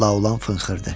Laolan fınxırdı.